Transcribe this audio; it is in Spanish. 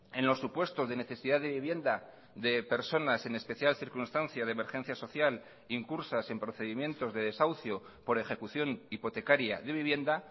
en los supuestos de necesidad de vivienda de personas en especial circunstancia de emergencia social incursas en procedimientos de desahucio por ejecución hipotecaria de vivienda